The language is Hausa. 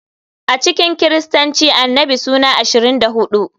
A cikin Kiristanci Annabi suna 24.